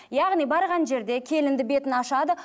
яғни барған жерде келінді бетін ашады